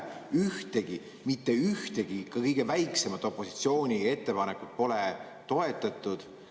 Ühtegi, mitte ühtegi, ka mitte kõige väiksemat opositsiooni ettepanekut pole toetatud.